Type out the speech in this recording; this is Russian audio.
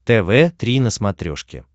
тв три на смотрешке